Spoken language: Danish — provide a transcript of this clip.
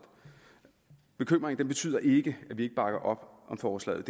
bekymringen betyder ikke at vi ikke bakker op om forslaget